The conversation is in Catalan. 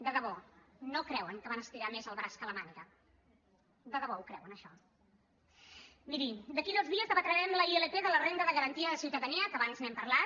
de debò no creuen que van estirar més el braç que la màniga de debò ho creuen això miri d’aquí a dos dies debatrem la ilp de la renda de garantia de ciutadania que abans n’hem parlat